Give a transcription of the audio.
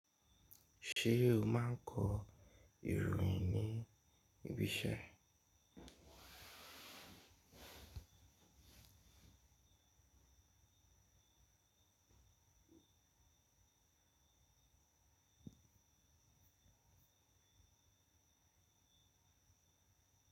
Ṣé o máa ń kọ ìròyìn ní ibi iṣẹ́?